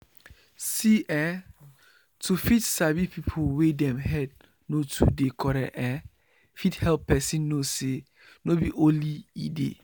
see eh to fit sabi people wey dem head no too dey correct ehh fit help person know say no be only e dey